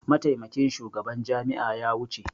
Mataimakin shugaban jami'a ya wuce.